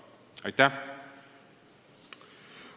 Aitäh!